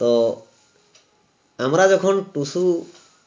তো আমরা যখন টুসু